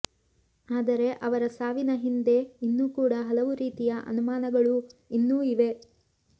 ಆದರೆ ಅವರ ಸಾವಿನ ಹಿಂದೆ ಇನ್ನೂ ಕೂಡ ಹಲವು ರೀತಿಯ ಅನುಮಾನಗಳೂ ಇನ್ನೂ ಇದೆ